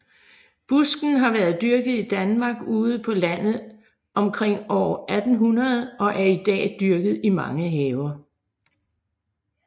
Busken har været dyrket i Danmark ude på landet omkring år 1800 og er i dag dyrket i mange haver